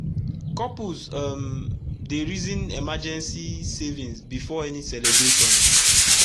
couples um dey reason emergency savings before any celebration